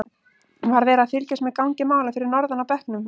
Var verið að fylgjast með gangi mála fyrir norðan á bekknum?